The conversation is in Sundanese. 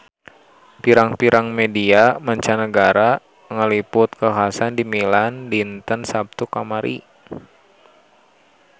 Pirang-pirang media mancanagara ngaliput kakhasan di Milan dinten Saptu kamari